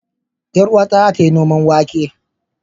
Yar uwata za ta yi noman wake.